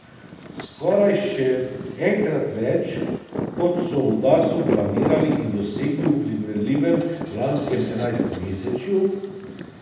Skoraj še enkrat več, kot so v Darsu planirali in dosegli v primerljivem lanskem enajstmesečju.